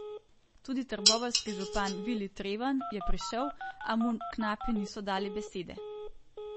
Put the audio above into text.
Tudi trboveljski župan Vili Treven je prišel, a mu knapi niso dali besede.